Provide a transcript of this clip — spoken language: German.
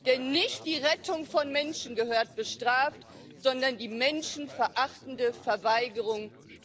Denn nicht die Rettung von Menschen gehört bestraft, sondern die menschenverachtende Verweigerung von Hilfe.